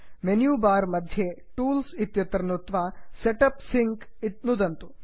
menu bar मध्ये tools tools इत्यत्र नुत्वा set up sync set up sync नुदन्तु